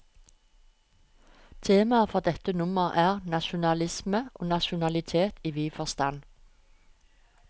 Temaet for dette nummer er, nasjonalisme og nasjonalitet i vid forstand.